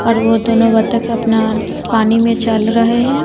और वो दोनों बतखे अपना पानी में चल रहे है।